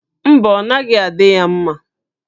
Mba, ọ naghị adị ya mma